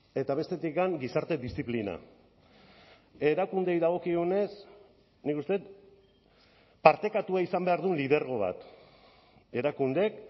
eta bestetik gizarte diziplina erakundeei dagokionez nik uste dut partekatua izan behar du lidergo bat erakundeek